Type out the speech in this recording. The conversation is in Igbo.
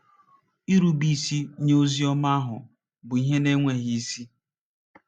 Nrubeisi nye ozi ọma ahụ bụ ihe na-enweghị isi.